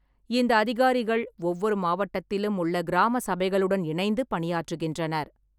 இந்த அதிகாரிகள் ஒவ்வொரு மாவட்டத்திலும் உள்ள கிராம சபைகளுடன் இணைந்து பணியாற்றுகின்றனர்.